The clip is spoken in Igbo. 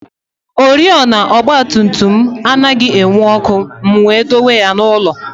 Oriọna ọgba tum tum m anaghị enwu ọkụ, m wee dọwa ya n'ụlọ